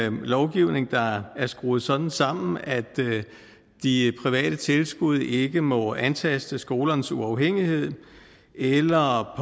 en lovgivning der er skruet sådan sammen at de private tilskud ikke må antaste skolernes uafhængighed eller